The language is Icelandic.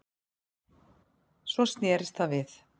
Svo snerist það við